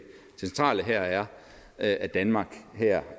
centrale her er at danmark